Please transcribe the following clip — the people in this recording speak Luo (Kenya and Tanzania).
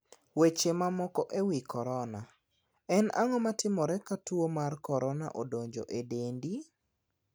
Weche mamoko e wi korona:En ang`o ma timore ka tuo mar korona odonjo e dendi?